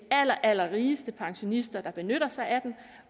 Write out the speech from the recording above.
allerallerrigeste pensionister der benytter sig af